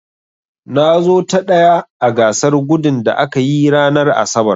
Na zo ta ɗaya a gasar gudun da aka yi ranar asabar.